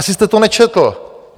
Asi jste to nečetl.